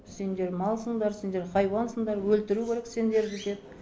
сендер малсыңдар сендер хайуансыңдар өлтіру керек сендерді деп